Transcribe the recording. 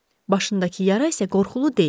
Başındakı yara isə qorxulu deyil.